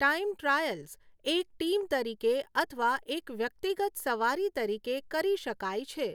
Time trials એક team તરીકે અથવા એક વ્યક્તિગત સવારી તરીકે કરી શકાય છે.